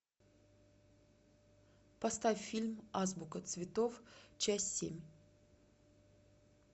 поставь фильм азбука цветов часть семь